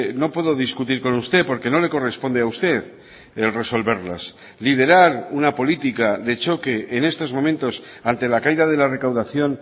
no puedo discutir con usted porque no le corresponde a usted el resolverlas liderar una política de choque en estos momentos ante la caída de la recaudación